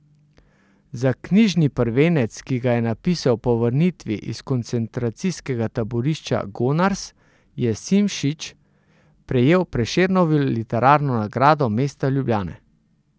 Za knjižni prvenec, ki ga je napisal po vrnitvi iz koncentracijskega taborišča Gonars, je Simčič prejel Prešernovo literarno nagrado mesta Ljubljane.